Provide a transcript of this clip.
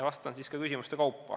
Vastan jällegi küsimuste kaupa.